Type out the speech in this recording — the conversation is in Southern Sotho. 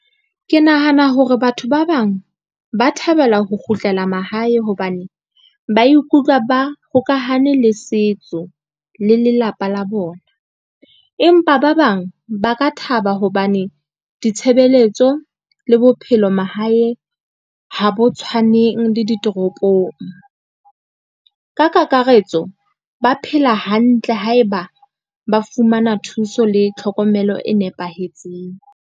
Ke nahana hore batho ba bang ba thabela ho kgutlela mahae hobane, ba ikutlwa ba hokahane le setso le lelapa la bona, empa ba bang ba ka thaba hobane di tshebeletso le bophelo mahae ha bo tshwaneng le ditoropong. Ka kakaretso ba phela hantle haeba ba fumana thuso le tlhokomelo e nepahetseng.